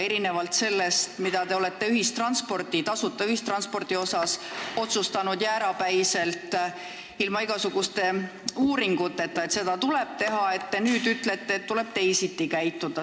Erinevalt sellest, mida te olete tasuta ühistranspordi kohta jäärapäiselt ilma igasuguste uuringuteta otsustanud, et seda tuleb teha, nüüd te ütlete, et tuleb teisiti käituda.